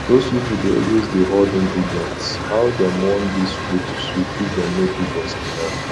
doz people dey always dey horde ingredients how dem want dis food to sweet if dem no give us enough